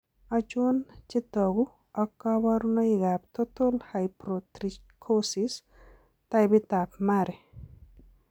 Achon chetogu ak kaborunoik ab Total Hypotrichosis ,Taipit ab Mari?